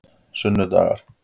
sunnudagar